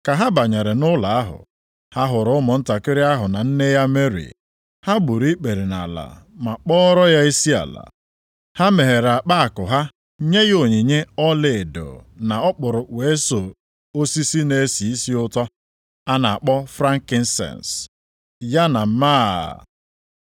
Ka ha banyere nʼụlọ ahụ, ha hụrụ nwantakịrị ahụ na nne ya Meri, ha gburu ikpere nʼala ma kpọọrọ ya isiala. Ha meghere akpa akụ ha nye ya onyinye ọlaedo na ọkpụrụkpụ eso osisi na-esi isi ụtọ a na-akpọ frankisens, + 2:11 Maọbụ, mgbaisiọma ya na máá. + 2:11 Maọbụ, mgba ilu